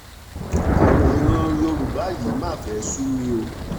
ọ̀rọ̀ ìran yorùbá yìí mà fẹ́ẹ́ sú mi o